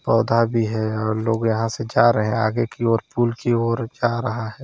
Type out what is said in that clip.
पौधा भी है लोग यहाँ से जा रहे हैं आगे की ओर पुल की ओर जा रहा है।